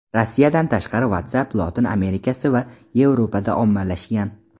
Rossiyadan tashqari WhatsApp Lotin Amerikasi va Yevropada ommalashgan.